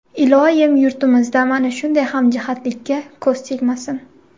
Iloyim, yurtimizda mana shunday hamjihatlikka ko‘z tegmasin!